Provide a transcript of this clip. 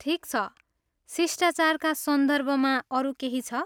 ठिक छ, शिष्टाचारका सन्दर्भमा अरू केही छ?